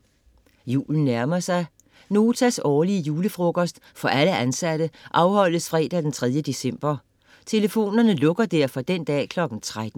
Julen nærmer sig. Notas årlige julefrokost for alle ansatte afholdes fredag den 3. december. Telefonerne lukker derfor den dag kl. 13.